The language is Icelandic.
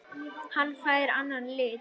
Hann fær annan lit.